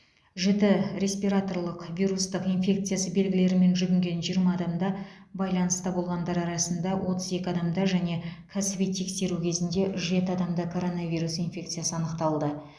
жіті респираторлық вирустық инфекциясы белгілерімен жүгінген жиырма адамда байланыста болғандар арасында отыз екі адамда және кәсіби тексеру кезінде жеті адамда коронавирус инфекциясы анықталды